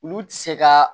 Olu ti se ka